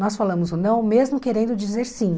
Nós falamos o não mesmo querendo dizer sim.